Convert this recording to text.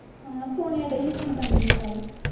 ਹਾਂ ਸੋਨੀਆ ਡਈ ਸੀ phone ਕਰਨ ਮੈਨੂੰ ਕੱਲ।